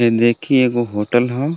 इ देखी एगो होटल ह.